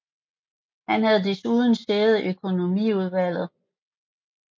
Han havde desuden sæde i økonomiudvalget